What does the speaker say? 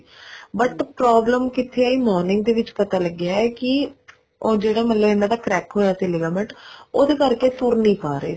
but problem ਕਿੱਥੇ ਆਈ morning ਦੇ ਵਿੱਚ ਪਤਾ ਲੱਗਿਆ ਕੇ ਉਹ ਮਤਲਬ ਜਿਹੜਾ ਇਹਨਾ ਦਾ crack ਹੋਇਆ ਸੀ ligament ਉਹਦੇ ਕਰਕੇ ਤੁਰ ਨੀ ਪਾ ਰਹੇ ਸੀ